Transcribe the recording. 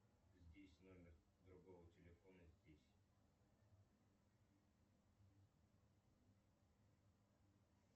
здесь номер другого телефона здесь